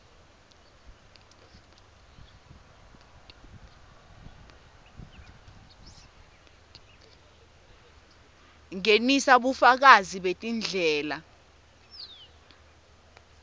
ngenisa bufakazi betindlela